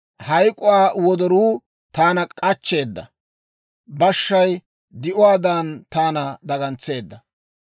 Hayk'uwaa wodoruu taana k'achcheeda; bashshay di'uwaadan taana dagantseedda.